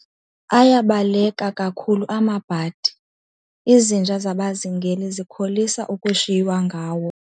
Ayabaleka kakhulu amabhadi, izinja zabazingeli zikholisa ukushiywa ngawo.